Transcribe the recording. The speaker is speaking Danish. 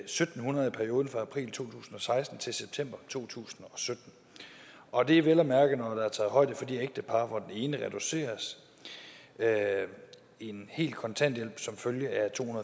syv hundrede i perioden fra april to tusind og seksten til september to tusind og sytten og det er vel at mærke når der er taget højde for de ægtepar hvor den ene reduceres en hel kontanthjælp som følge af to